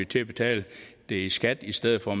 til at betale det i skat i stedet for